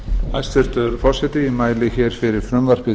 hæstvirtur forseti ég mæli hér fyrir